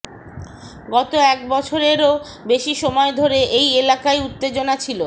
গত এক বছরেরও বেশি সময় ধরে এই এলাকায় উত্তেজনা ছিল